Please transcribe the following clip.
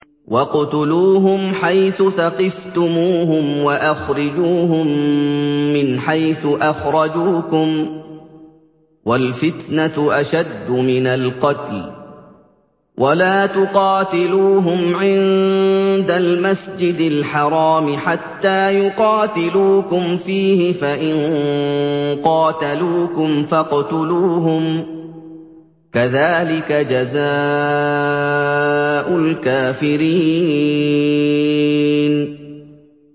وَاقْتُلُوهُمْ حَيْثُ ثَقِفْتُمُوهُمْ وَأَخْرِجُوهُم مِّنْ حَيْثُ أَخْرَجُوكُمْ ۚ وَالْفِتْنَةُ أَشَدُّ مِنَ الْقَتْلِ ۚ وَلَا تُقَاتِلُوهُمْ عِندَ الْمَسْجِدِ الْحَرَامِ حَتَّىٰ يُقَاتِلُوكُمْ فِيهِ ۖ فَإِن قَاتَلُوكُمْ فَاقْتُلُوهُمْ ۗ كَذَٰلِكَ جَزَاءُ الْكَافِرِينَ